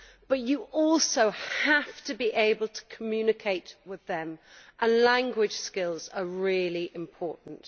But you also have to be able to communicate with them, and language skills are really important.